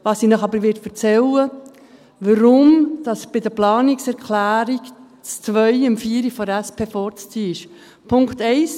Ich werde Ihnen aber erzählen, warum die Planungserklärung 2 der Planungserklärung 4 von der SP vorzuziehen ist.